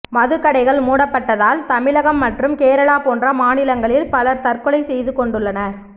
மதுக்கடைகள் மூடப்பட்டதால் தமிழகம் மற்றும் கேரளா போன்ற மாநிலங்களில் பலர் தற்கொலை செய்துகொண்டுள்ளனர்